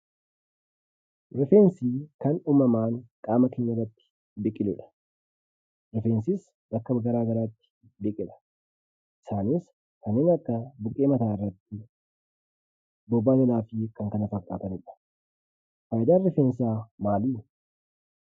Rifeensii kan uumamaan qaama keenyarratti biqiludha. Rifeensis bakka garaa garaatti biqila. Isaanis kanneen akka buqqee mataarratti, bobaa jalaa fi kan kana fakkaatanidha. Faayidaan rifeensaa maalii?